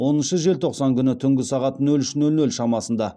оныншы желтоқсан күні түнгі сағат нөл үш нөл нөл шамасында